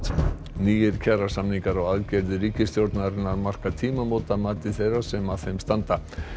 nýir kjarasamningar og aðgerðir ríkisstjórnarinnar marka tímamót að mati þeirra sem að þeim standa